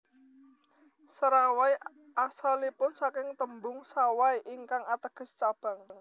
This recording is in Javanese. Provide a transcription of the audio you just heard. Serawai asalipun saking tembung Sawai ingkang ateges cabang